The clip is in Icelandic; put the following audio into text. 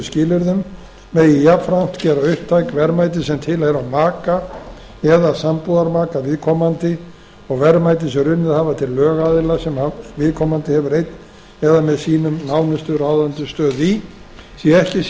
skilyrðum megi jafnframt gera upptæk verðmæti sem tilheyra maka eða sambúðarmaka viðkomandi og verðmæti sem runnið hafa til lögaðila sem viðkomandi hefur einn eða með sínum nánustu ráðandi stöðu í sé ekki sýnt